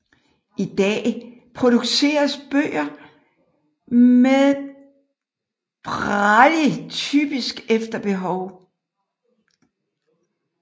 I dag produceres bøger med braille typisk efter behov